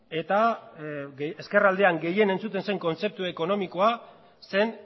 eta ezkerraldean gehien entzuten zen kontzeptu ekonomikoa zen